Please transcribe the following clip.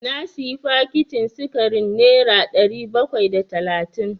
Na sayi fakitin sikarin nera ɗari bakwai da talatin.